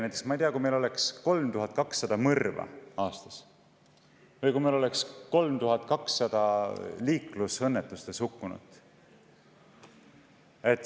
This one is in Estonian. Kujutage ette, kui meil oleks 3200 mõrva aastas või kui meil oleks 3200 liiklusõnnetuses hukkunut!